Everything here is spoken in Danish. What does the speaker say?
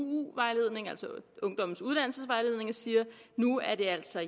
vejledningen altså ungdommens uddannelsesvejledning og siger nu er det altså